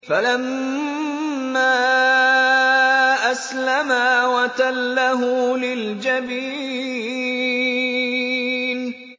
فَلَمَّا أَسْلَمَا وَتَلَّهُ لِلْجَبِينِ